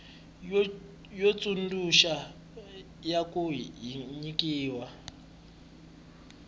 yo tsundzuxa ya ku nyikiwa